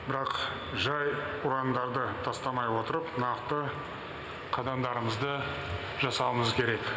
бірақ жай ұрандарды тастамай отырып нақты қадамдарымызды жасауымыз керек